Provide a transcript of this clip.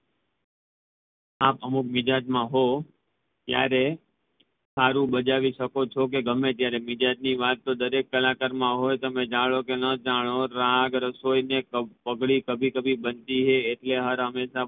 આપ અમુક મિજાજ માં હોઉં ત્યારે સારું બજાવી શકો ચો કે ગમે ત્યારે? મિજાજ ની વાત તો દરેક કલાકાર માં હોઈ તમે જાણો કે ના જાણો રાગ રસોઈ ને પાંગળી કભી કભી બનતી હૈ એટલે હંમેશ